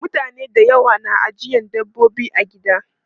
Mutane da yawa na ajiye dabbobi a gida.